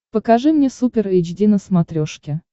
покажи мне супер эйч ди на смотрешке